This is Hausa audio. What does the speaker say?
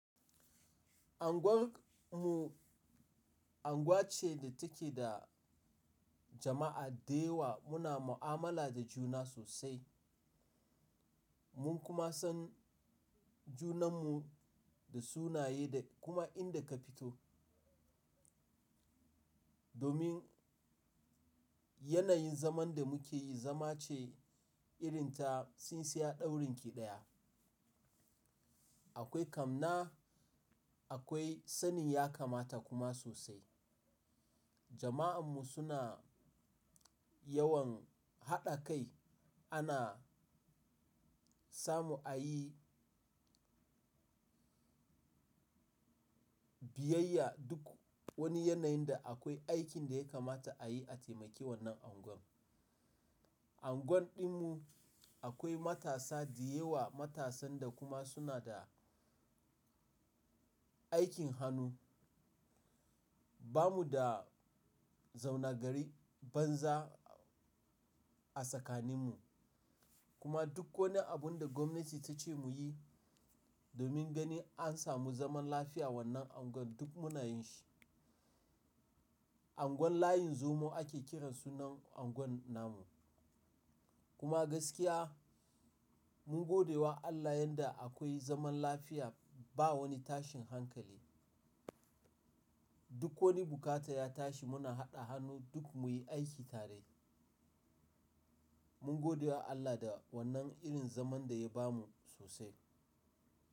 Anguwar mu anguwa ce da take da jama'a da yawa. Muna mu'amala da juna sosai. Mun kuma san junan mu da sunaye da kuma inda ka fito. Domin yanayin zaman da muke yi, zama ce irin ta tsintsiyar ɗaurin ƙiɗaya. Akwai amna, akwai sani ya kamata kuma sosai. Jama'an mu suna yawan haɗa kai. Ana samu ayi biyayya duk wani yanayin da akwai aikin da ya kamata a yi a taimakawa wannan anguwa. Anguwan ɗin mu akwai matasa da yawa, matasan da kuma suna da aikin hannu. Ba mu da zauna gari banza a tsakanin mu. Kuma duk wani abun da gwamnati ta ce mu yi domin ganin an samu zaman lafiya wannan anguwa duk muna yin shi. Anguwan layin Zomo ake kiran sunan anguwan nan mu. Kuma gaskiya mun gode wa Allah yanda akwai zaman lafiya ba wani tashin hankali. Duk wani bukata ya tashi muna haɗa hannu duk muyi aiki tare. Mun gode wa Allah da wannan irin zaman da ya bamu sosai.